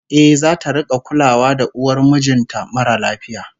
Eh, zata rik'a kulawa da uwar mijin ta mara lafiya